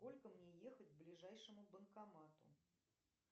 сколько мне ехать к ближайшему банкомату